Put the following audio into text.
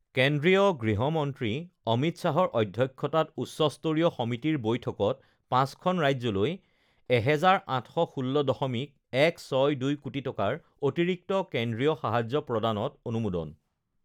কেন্দ্ৰীয় গৃহমন্ত্ৰী অমিত শ্বাহৰ অধ্যক্ষতাত উচ্চস্তৰীয় সমিতিৰ বৈঠকত পাঁচখন ৰাজ্যলৈ ১,৮১৬.১৬২ কোটি টকাৰ অতিৰিক্ত কেন্দ্ৰীয় সাহায্য প্ৰদানত অনুমোদন